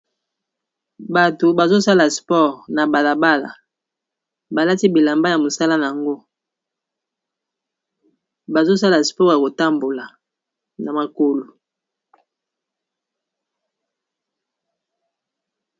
Bato bazosala sport na balabala balati bilamba ya mosala yango bazosala sport ya kotambola na makolo.